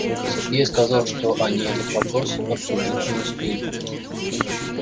сергей сказал что они этот вопрос обсудить не успели